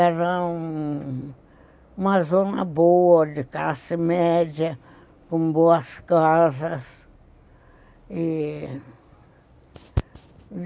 Era uma zona boa, de classe média, com boas casas e